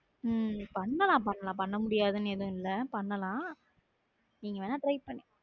உம் பண்ணலாம் பண்ணலாம் பண்ண முடியாதுன்னு எதுவும் இல்லை பண்ணலாம் நீங்க வேணா try பண்ணுங்க